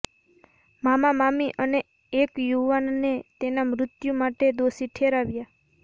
મામા મામી અને એક યુવાનને તેના મૃત્યુ માટે દોષી ઠેરવ્યા